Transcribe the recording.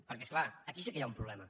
perquè és clar aquí sí que hi ha un problema